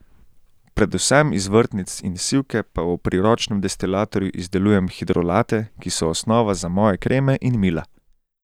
Predvsem iz vrtnic in sivke pa v priročnem destilatorju izdelujem hidrolate, ki so osnova za moje kreme in mila.